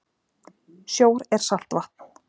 Sjór er saltvatn.